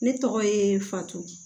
Ne tɔgɔ ye fatu